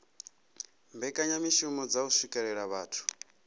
mbekanyamishumo dza u swikelela vhathu